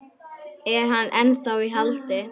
Er hann ennþá í haldi?